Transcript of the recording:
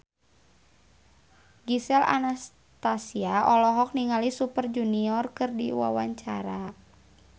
Gisel Anastasia olohok ningali Super Junior keur diwawancara